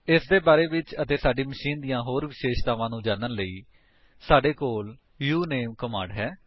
ਇਹਦੇ ਬਾਰੇ ਵਿੱਚ ਅਤੇ ਸਾਡੀ ਮਸ਼ੀਨ ਦੀਆਂ ਹੋਰ ਵਿਸ਼ੇਸ਼ਤਾਵਾਂ ਨੂੰ ਜਾਣਨ ਲਈ ਸਾਡੇ ਕੋਲ ਉਨਾਮੇ ਕਮਾਂਡ ਹੈ